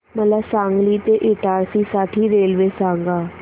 मला सांगली ते इटारसी साठी रेल्वे सांगा